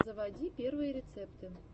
заводи первые рецепты